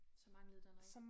Så manglede der noget